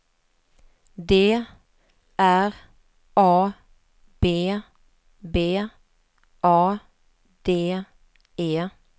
D R A B B A D E